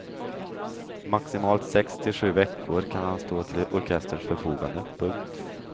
Maximalt sex till sju veckor kan han stå till orkesterns förfogande. punkt